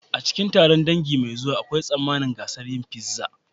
A cikin taron dangi mai zuwa, akwai tsammanin gasar yin pizza.